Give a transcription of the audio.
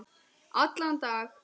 Allan dag?